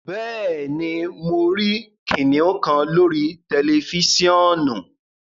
Bẹẹni, mo rí kìnnìún kan lórí tẹlifisiọ̀nù